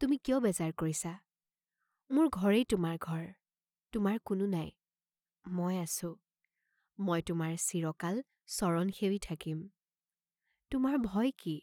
তুমি কিয় বেজাৰ কৰিছা, মোৰ ঘৰেই তোমাৰ ঘৰ, তোমাৰ কোনো নাই, মই আঁছো, মই তোমাৰ চিৰকাল চৰণ সেৱি থাকিম, তোমাৰ ভয় কি?